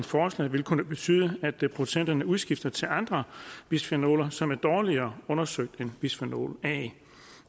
forslag vil kunne betyde at producenterne udskifter til andre bisfenoler som er dårligere undersøgt end bisfenol a